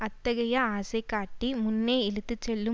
அத்தகைய ஆசைகாட்டி முன்னே இழுத்துச்செல்லும்